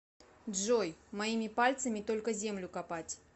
джой моими пальцами только землю копать